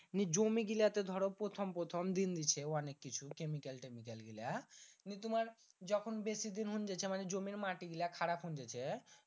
এই জমি গীলা তে ধরো প্রথম প্রথম দিন দিছে অনেক কিছু কেমিক্যাল Chemical গীলা নিয়ে তুমার যখন বেশি দিন হুং যেছে মানে জমির মাটি গীলা খারাপ হুং যেছে